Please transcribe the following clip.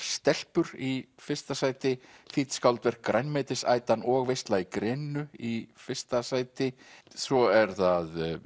stelpur í fyrsta sæti þýdd skáldverk grænmetisætan og veisla í greninu í fyrsta sæti svo eru það